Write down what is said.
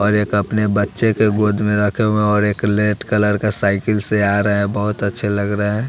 और एक अपने बच्चे के गोद में रखे हुए और एक रेड कलर का साइकिल से आ रहा हैं। बहोत अच्छे लग रहे है।